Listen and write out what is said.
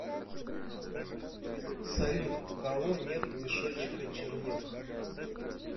салют у кого нет мешочека чернил